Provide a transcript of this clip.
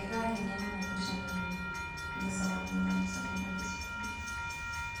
Akaata eng'eno naipirta enatoki apa te sekondary school